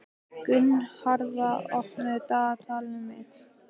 Gunnharða, opnaðu dagatalið mitt.